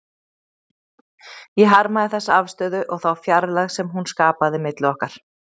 Ég harmaði þessa afstöðu og þá fjarlægð sem hún skapaði milli okkar.